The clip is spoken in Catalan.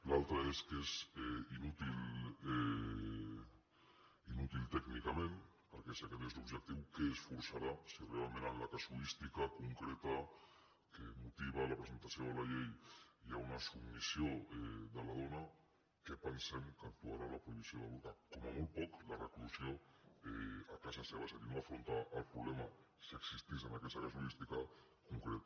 l’altre és que és inútil tècnicament perquè si aquest és l’objectiu què es forçarà si realment en la casuística concreta que motiva la presentació de la llei hi ha una submissió de la dona què pensem que actuarà la prohibició del burca com a molt poc la reclusió a casa seva és a dir no afrontar el problema si existís en aquesta casuística en concret